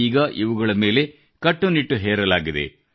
ಈಗ ಇವುಗಳ ಮೇಲೆ ಕಟ್ಟುನಿಟ್ಟು ಹೇರಲಾಗಿದೆ